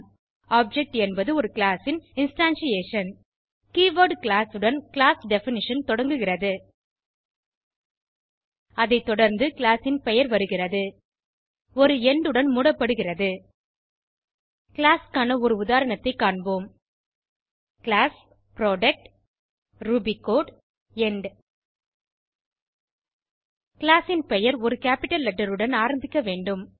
object என்பது ஒரு class ன் இன்ஸ்டான்ஷியேஷன் கீவர்ட் கிளாஸ் உடன் கிளாஸ் டெஃபினிஷன் தொடங்குகிறது அதை தொடர்ந்து கிளாஸ் ன் பெயர் வருகிறது ஒரு எண்ட் உடன் மூடப்படுகிறது கிளாஸ் க்கான ஒரு உதாரணத்தை காண்போம் class product Ruby code end class ன் பெயர் ஒரு கேப்பிட்டல் லெட்டர் உடன் ஆரம்பிக்க வேண்டும்